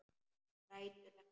Grætur ekki.